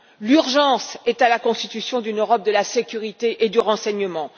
L'urgence est à la constitution d'une Europe de la sécurité et du renseignement.